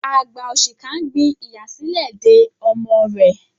Àgbà òṣìkà ń gbin ìyà sílẹ̀ de ọmọ rẹ̀.